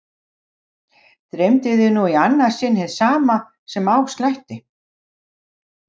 Dreymdi þig nú í annað sinn hið sama sem á slætti?